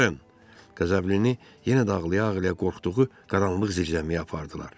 Qəzəblini yenə də ağlaya-ağlaya qorxduğu qaranlıq zirzəmiyə apardılar.